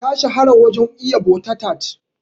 Ta shahara wajen iya butter tart.